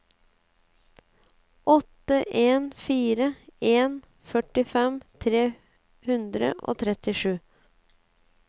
åtte en fire en førtifem tre hundre og trettisju